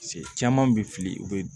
Se caman bɛ fili u bɛ